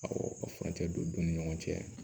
Awɔ ka furancɛ don u ni ɲɔgɔn cɛ